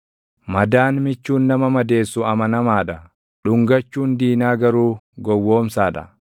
Madaan michuun nama madeessu amanamaa dha; dhungachuun diinaa garuu gowwoomsaa dha.